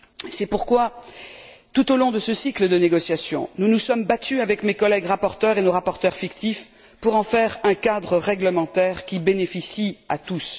C'est pourquoi, tout au long de ce cycle de négociations, nous nous sommes battus, avec mes collègues rapporteurs et nos rapporteurs fictifs, pour en faire un cadre réglementaire qui bénéficie à tous.